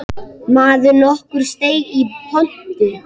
Maður nokkur steig í pontu.